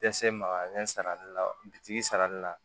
Dɛsɛ magalen sarali la bitigi sarali la